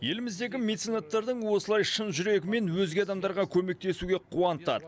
еліміздегі меценаттардың осылай шын жүрегімен өзге адамдарға көмектесуге қуантады